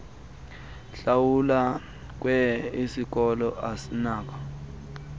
hlawulelwa kwye isikoloasinako